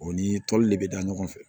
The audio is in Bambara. O ni toli de bɛ da ɲɔgɔn fɛ